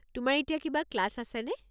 তোমাৰ এতিয়া কিবা ক্লাছ আছেনে?